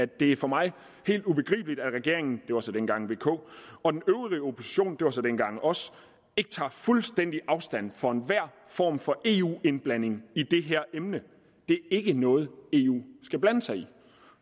det er for mig helt ubegribeligt at regeringen det var så dengang vk og den øvrige opposition det var så dengang os ikke tager fuldstændig afstand fra enhver form for eu indblanding i det her emne det er ikke noget eu skal blande sig i